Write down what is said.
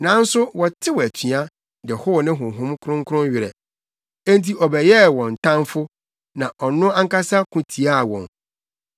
Nanso wɔtew atua de how ne Honhom Kronkron werɛ. Enti ɔbɛyɛɛ wɔn tamfo na ɔno ankasa ko tiaa wɔn.